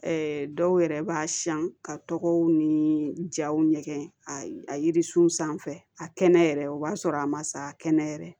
dɔw yɛrɛ b'a siyan ka tɔgɔw ni jaw ɲɛgɛn a yirisun sanfɛ a kɛnɛ yɛrɛ o b'a sɔrɔ a ma sa kɛnɛ yɛrɛ